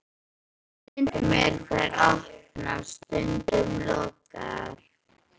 Stundum eru þær opnar, stundum lokaðar.